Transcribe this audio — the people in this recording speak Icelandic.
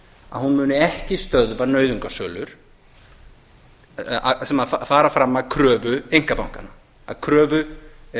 að hún muni ekki stöðva nauðungarsölur sem fara fram að kröfu einkabankanna að kröfu